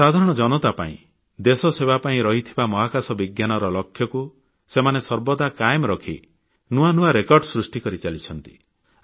ସାଧାରଣ ଜନତା ପାଇଁ ଦେଶସେବା ପାଇଁ ରହିଥିବା ମହାକାଶ ବିଜ୍ଞାନର ଲକ୍ଷ୍ୟକୁ ସେମାନେ ସର୍ବଦା କାଏମ ରଖି ନୂଆ ନୂଆ ରେକର୍ଡ ସୃଷ୍ଟି କରିଚାଲିଛନ୍ତି